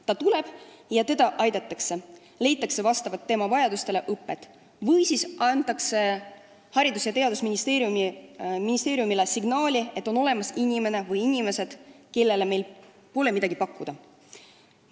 Ta tuleb ja teda aidatakse, leitakse vastavalt tema vajadustele õpe või siis antakse Haridus- ja Teadusministeeriumile signaal, et on olemas inimene või inimesed, kellele meil pole midagi pakkuda.